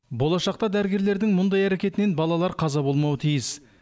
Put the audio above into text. болашақта дәрігерлердің мұндай әрекетінен балалар қаза болмауы тиіс